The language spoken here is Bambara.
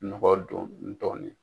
Nɔgɔ don ni dɔ nin ye.